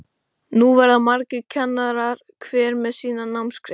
Nú verða margir kennarar, hver með sína námsgrein.